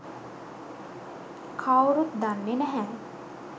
කවුරුත් දන්නෙ නැහැ